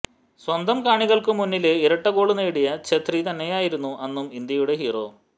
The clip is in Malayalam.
സ്വന്തം കാണികള്ക്കു മുന്നില് ഇരട്ട ഗോള് നേടിയ ഛേത്രി തന്നെയായിരുന്നു അന്നും ഇന്ത്യയുടെ ഹീറോ